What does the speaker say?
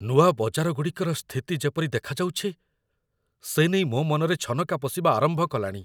ନୂଆ ବଜାରଗୁଡ଼ିକର ସ୍ଥିତି ଯେପରି ଦେଖାଦେଉଛି, ସେ ନେଇ ମୋ ମନରେ ଛନକା ପଶିବା ଆରମ୍ଭ କଲାଣି।